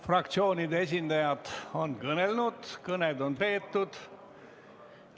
Fraktsioonide esindajad on kõnelnud, kõned on peetud.